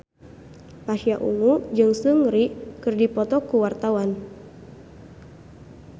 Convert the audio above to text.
Pasha Ungu jeung Seungri keur dipoto ku wartawan